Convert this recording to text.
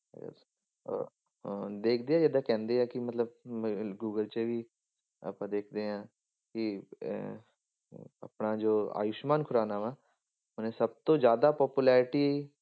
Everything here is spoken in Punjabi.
Yes ਅਹ ਹਾਂ ਦੇਖਦੇ ਜਿੱਦਾਂ ਕਹਿੰਦੇ ਆ ਕਿ ਮਤਲਬ ਅਹ ਗੂਗਲ 'ਚ ਵੀ ਆਪਾਂ ਦੇਖਦੇ ਹਾਂ ਕਿ ਅਹ ਅਹ ਆਪਣਾ ਜੋ ਆਯੁਸਮਾਨ ਖੁਰਾਨਾ ਵਾਂ ਉਹਨੇ ਸਭ ਤੋਂ ਜ਼ਿਆਦਾ popularity